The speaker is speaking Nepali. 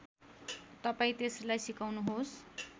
तपाईँ त्यसलाई सिकाउनुहोस्